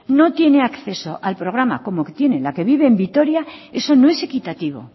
no tiene acceso al programa como tiene la que vive en vitoria eso no es equitativo